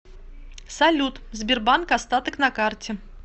салют сбербанк остаток на карте